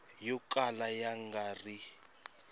yo kala ya nga ri